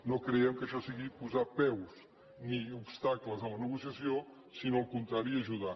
no creiem que això sigui posar peus ni obstacles a la negociació sinó el contrari ajudar